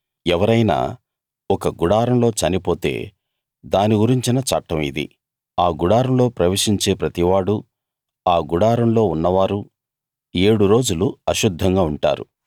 ఎవరైనా ఒక గుడారంలో చనిపోతే దాని గురించిన చట్టం ఇది ఆ గుడారంలో ప్రవేశించే ప్రతివాడూ ఆ గుడారంలో ఉన్నవారూ ఏడు రోజులు అశుద్ధంగా ఉంటారు